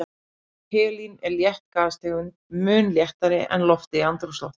Helín er létt gastegund, mun léttari en loftið í andrúmsloftinu.